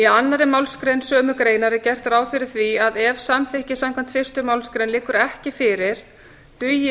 annarri málsgrein sömu greinar er gert ráð fyrir því að ef samþykki samkvæmt fyrstu málsgrein liggur ekki fyrir dugi